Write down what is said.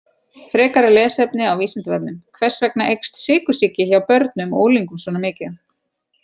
Frekara lesefni á Vísindavefnum: Hvers vegna eykst sykursýki hjá börnum og unglingum svona mikið?